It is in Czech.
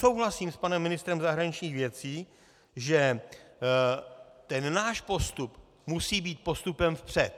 Souhlasím s panem ministrem zahraničních věcí, že ten náš postup musí být postupem vpřed.